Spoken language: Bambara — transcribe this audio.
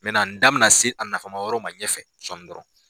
n da bɛna se a nafama yɔrɔ ma, ɲɛfɛ sɔɔn dɔrɔnw.